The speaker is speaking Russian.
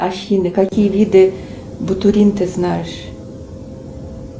афина какие виды бутурин ты знаешь